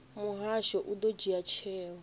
muhasho u ḓo dzhia tsheo